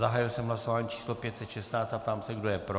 Zahájil jsem hlasování číslo 516 a ptám se, kdo je pro.